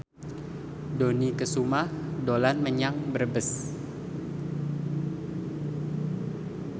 Dony Kesuma dolan menyang Brebes